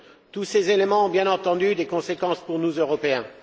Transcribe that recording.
Tous ces éléments ont, bien entendu, des conséquences pour nous, Européens.